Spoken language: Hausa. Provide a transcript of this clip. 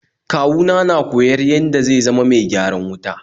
Kawu na na koyar yada zai ma mai gyaran wuta